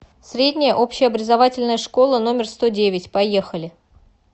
средняя общеобразовательная школа номер сто девять поехали